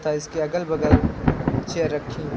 इसके अगल बगल चेयर रखी हैं।